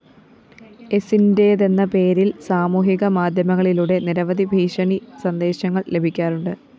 എസിന്റേതെന്ന പേരില്‍ സാമൂഹിക മാധ്യമങ്ങളിലൂടെ നിരവധി ഭീഷണി സന്ദേശങ്ങള്‍ ലഭിക്കാറുണ്ട്